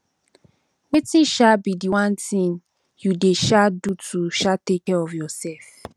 wetin um be di one thing you dey um do to um take care of yourself